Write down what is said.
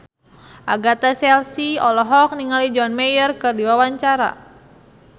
Agatha Chelsea olohok ningali John Mayer keur diwawancara